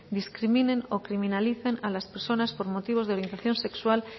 discriminen o criminalicen a las personas por motivos de orientación sexual